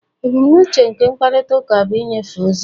Ebumnuche nke mkparịta ụka bụ ịnyefe ozi